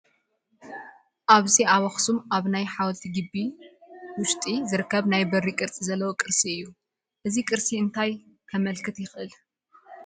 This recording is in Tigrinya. ኣብዚ ኣብ ኣኽሱም ኣብ ናይ ሓወልቲ ግቢ ውሽጢ ዝርከብ ናይ በሪ ቅርፂ ዘለዎ ቅርሲ እዩ፡፡ እዚ ቅርሲ እንታይ ከመልክት ይኽእል?